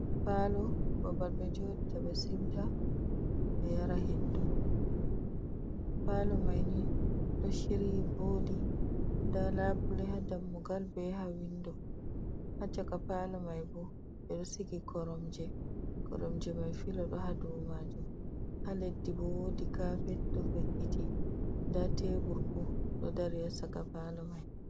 Palo babal ɓe jodi ta be siuta ɓe yara hendu palo maini ɗo shiryi vodi ɗa labule ha dammugal be yaha windo ha shaka palo mai ɓo ɓe do sigi koromje mai filo do hadu majum ha leddi bo wodi kapet ɗo fe’’iti da tebur ɓo do dari yasaka palo mai.